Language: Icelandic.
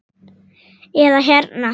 eða hérna